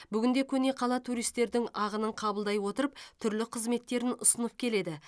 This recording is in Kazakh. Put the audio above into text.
бүгінде көне қала туристердің ағынын қабылдай отырып түрлі қызметтерін ұсынып келеді